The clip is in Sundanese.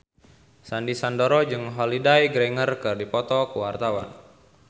Sandy Sandoro jeung Holliday Grainger keur dipoto ku wartawan